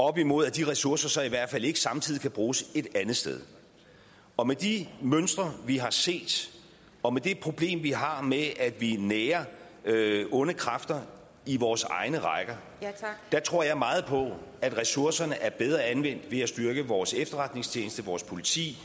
op imod at de ressourcer så i hvert fald ikke samtidig kan bruges et andet sted og med de mønstre vi har set og med det problem vi har med at vi nærer onde kræfter i vores egne rækker tror jeg meget på at ressourcerne er bedre anvendt ved at styrke vores efterretningstjeneste vores politi